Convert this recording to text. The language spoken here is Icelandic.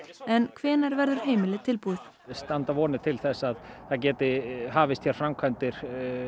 en hvenær verður heimilið tilbúið það standa vonir til þess að það geti hafist hér framkvæmdir